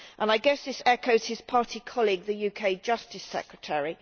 I guess this echoes that of his party colleague, the UK Justice Secretary.